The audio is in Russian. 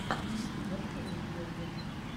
на ютьюбе открой мне видеоблоги